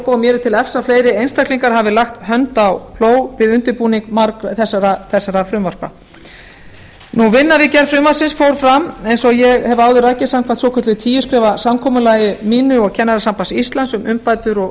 er til efs að fleiri einstaklingar hafi lagt hönd á plóg við undirbúning þessara frumvarpa vinna við gerð frumvarpsins fór fram eins og ég hef áður rakið samkvæmt svokölluðu tíu skrefa samkomulagi mínu og kennarasambands íslands um umbætur og